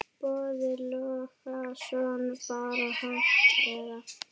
Boði Logason: Bara hægt eða?